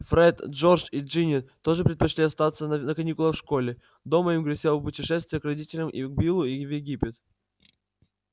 фред джордж и джинни тоже предпочли остаться на каникулах в школе дома им грозило путешествие к родителями к биллу в египет